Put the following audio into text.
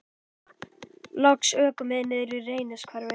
Loks ökum við niður í Reynishverfi.